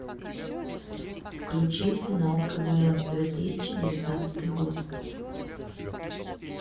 включи финал квн две тысячи девятнадцатый год